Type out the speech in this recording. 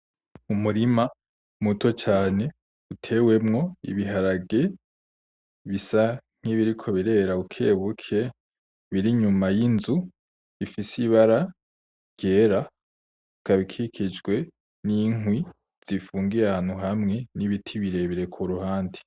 Umurima muto cane utewemwo ibiharage bisa nkibiriko birera buke buke biri inyuma yinzu rifise ibara ryera, ikaba ikikijwe ninkwi zifungiye ahantu hamwe nibiti birebire kuruhande.